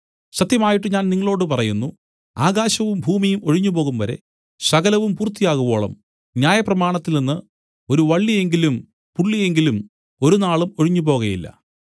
സത്യമായിട്ട് ഞാൻ നിങ്ങളോടു പറയുന്നു ആകാശവും ഭൂമിയും ഒഴിഞ്ഞുപോകുംവരെ സകലവും പൂർത്തിയാകുവോളം ന്യായപ്രമാണത്തിൽനിന്ന് ഒരു വള്ളി എങ്കിലും പുള്ളി എങ്കിലും ഒരുനാളും ഒഴിഞ്ഞുപോകയില്ല